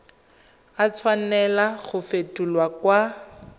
a tshwanela go fetolwa kwa